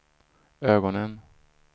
ögonen